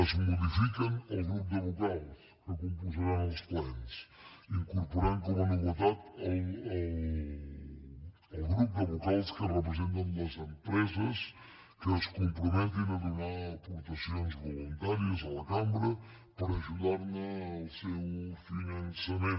es modifica el grup de vocals que composaran els plens incorporant hi com a novetat el grup de vocals que representen les empreses que es comprometin a donar aportacions voluntàries a la cambra per ajudar al seu finançament